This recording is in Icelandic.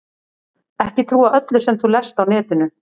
Ekki trúa öllu sem þú lest á netinu.